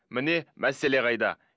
міне мәселе қайда